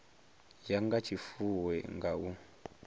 ya nga tshifuwo nga u